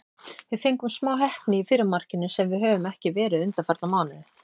Við fengum smá heppni í fyrra markinu, sem við höfum ekki verið undanfarna mánuði.